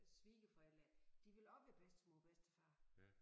Svigerforældre de ville også være bedstemor og bedstefar